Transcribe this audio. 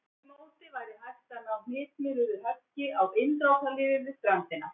Með því móti væri hægt að ná hnitmiðuðu höggi á innrásarliðið við ströndina.